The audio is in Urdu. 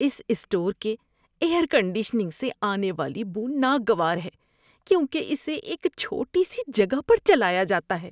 اس اسٹور کے ایئر کنڈیشنگ سے آنے والی بو ناگوار ہے کیونکہ اسے ایک چھوٹی سی جگہ پر چلایا جاتا ہے۔